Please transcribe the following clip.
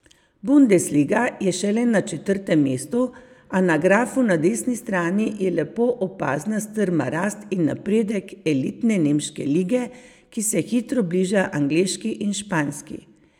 Bundesliga je šele na četrtem mestu, a na grafu na desni strani je lepo opazna strma rast in napredek elitne nemške lige, ki se hitro bliža angleški in španski.